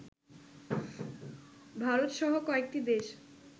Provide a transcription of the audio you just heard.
ভারতসহ কয়েকটি দেশ